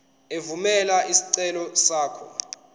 evumela isicelo sakho